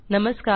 नमस्कार